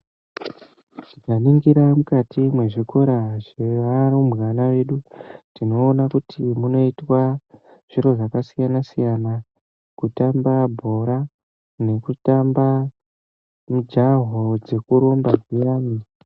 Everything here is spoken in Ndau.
Tikaningira mukati mezvikora zvevarumbwana vedu tinoona kuti munoitwa zviro zvakasiyana siyana kutamba bhora nekutamba mujaho wekurumba uyani.